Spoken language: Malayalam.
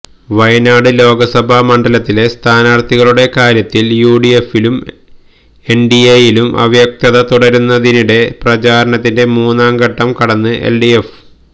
വയനാട് ലോക്സഭാ മണ്ഡലത്തിലെ സ്ഥാനാര്ത്ഥികളുടെ കാര്യത്തില് യുഡിഎഫിലും എന്ഡിഎയിലും അവ്യക്തത തുടരുന്നതിനിടെ പ്രചാരണത്തിന്റെ മൂന്നാം ഘട്ടം കടന്ന് എൽഡിഎഫ്